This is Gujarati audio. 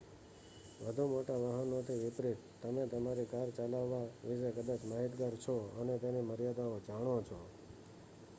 વધુ મોટા વાહનોથી વિપરીત તમે તમારી કાર ચલાવવા વિશે કદાચ માહિતગાર છો અને તેની મર્યાદાઓ જાણો છો